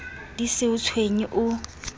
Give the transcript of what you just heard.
di se o tshwenye o